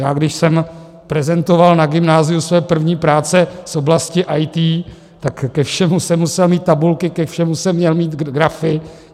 Já když jsem prezentoval na gymnáziu své první práce z oblasti IT, tak ke všemu jsem musel mít tabulky, ke všemu jsem měl mít grafy.